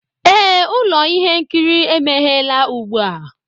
Ee, ụlọ ihe nkiri emeghela ugbu a